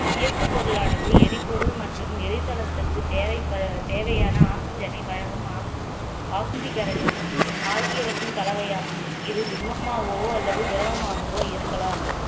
இயக்குப் பொருளானது எரிபொருள் மற்றும் எரிதளத்திற்கு தேவைப்ப~ தேவையான oxygen ஐ வழங்கும் ஆக்~ ஆக்சிகரனையும் ஆகியவற்றின் கலவையாகும் இது திண்மமாகவோ அல்லது திரவமாகவோ இருக்கலாம்